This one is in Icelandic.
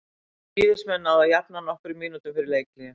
Víðismenn náðu að jafna nokkrum mínútum fyrir leikhlé.